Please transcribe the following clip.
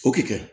O kɛɲɛn